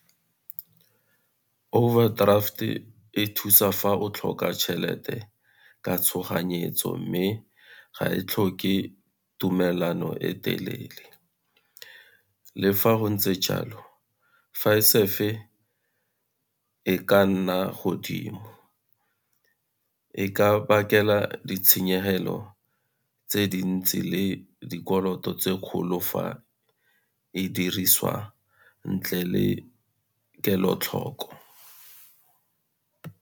Overdraft e thusa fa o tlhoka tšhelete ka tshoganyetso, mme ga e tlhoke tumelano e telele. Le fa go ntse jalo e ka nna godimo, e ka bakela ditshenyegelo tse di ntsi le dikoloto tse kgolo fa e dirisiwa ntle le kelotlhoko.